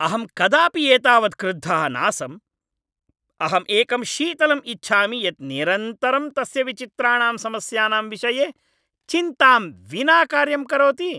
अहं कदापि एतावत् क्रुद्धः नासम्। अहम् एकं शीतलम् इच्छामि यत् निरन्तरं तस्य विचित्राणां समस्यानां विषये चिन्तां विना कार्यं करोति!